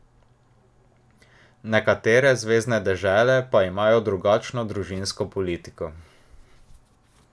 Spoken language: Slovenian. Nekatere zvezne dežele pa imajo drugačno družinsko politiko.